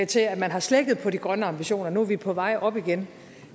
til at man har slækket på de grønne ambitioner nu er vi på vej op igen